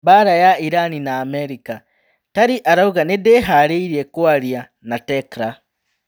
Mbara ya Irani na Amerika: Tari arauga 'nindiharĩirie kũaria' na Tecra